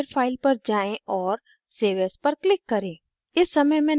एक बार फिर file पर जाएँ और save as पर click करें